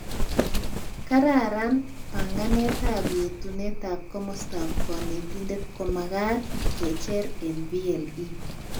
Kararanet, banganetab yetunetab komostab konetindet komagat kecher eng VLE